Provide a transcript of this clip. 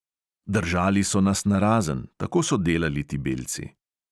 Držali so nas narazen, tako so delali ti belci.